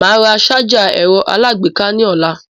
Màá ra sájà ẹ̀rọ aláàgbéká ní ọ̀la.